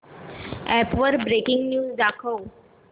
app वर breaking news दाखव